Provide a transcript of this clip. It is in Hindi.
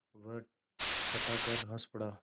वह ठठाकर हँस पड़ा